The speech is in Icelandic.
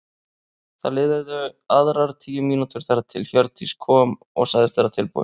Það liðu aðrar tíu mínútur þar til Hjördís kom og sagðist vera tilbúin.